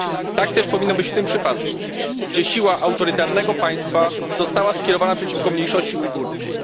Tak też powinno być w tym przypadku, gdzie siła autorytarnego państwa została skierowana przeciwko mniejszości ujgurskiej.